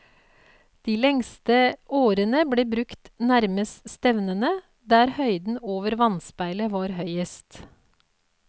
De lengste årene ble brukt nærmest stevnene der høyden over vannspeilet var høyest.